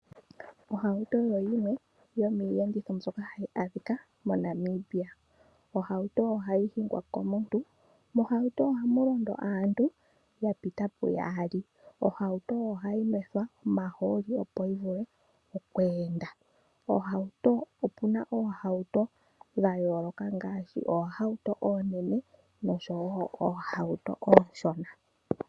Ohauto oyo yimwe yomiiyenditho mbyoka hayi adhika moNamibia. Ohauto ohayi hingwa komuntu .Mohauto ohamu londo aantu ya pita pu yaali. Ohauto ohayi nwethwa omahooli opo yi vule okweenda. Opuna oohauto dha yooloka ngaashi oohauto oonene noohauto oonshona.